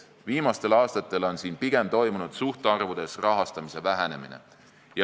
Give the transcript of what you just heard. Viimastel aastatel on siin suhtarvudes toimunud pigem rahastamise vähenemine.